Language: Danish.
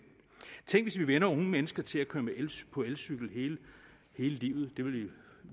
tænk hvis vi vænner unge mennesker til at køre på elcykel hele livet det ville